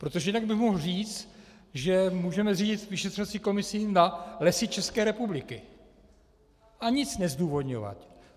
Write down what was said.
Protože jinak bych mohl říct, že můžeme zřídit vyšetřovací komisi na Lesy České republiky, a nic nezdůvodňovat.